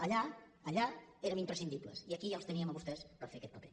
allà allà érem imprescindibles i aquí ja els teníem a vostès per fer aquest paper